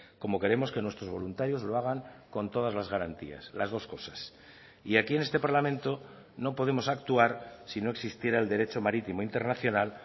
como queremos que nuestros voluntarios lo hagan con todas las garantías las dos cosas y aquí en este parlamento no podemos actuar si no existiera el derecho marítimo internacional